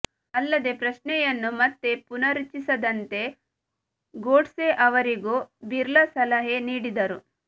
ಅಲ್ಲದೇ ಪ್ರಶ್ನೆಯನ್ನು ಮತ್ತೆ ಪುನರುಚ್ಛಿಸದಂತೆ ಗೋಡ್ಸೆ ಅವರಿಗೂ ಬಿರ್ಲಾ ಸಲಹೆ ನೀಡಿದರು